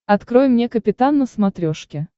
открой мне капитан на смотрешке